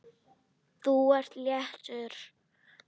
Þú ert léttur.